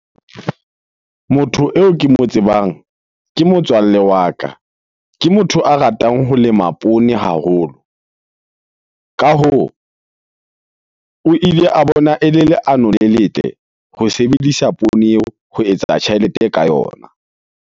Motho eo ke mo tsebang ke motswalle wa ka. Ke motho a ratang ho lema poone haholo. Ka hoo, o ile a bona ele leano le letle ho sebedisa poone eo ho etsa tjhelete ka yona.